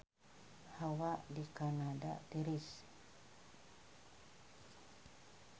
Hawa di Kanada tiris